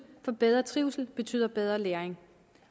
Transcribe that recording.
for bedre trivsel betyder bedre læring